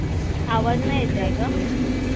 आवाज नाय येत आहे ग.